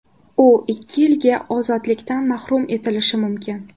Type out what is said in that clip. U ikki yilga ozodlikdan mahrum etilishi mumkin.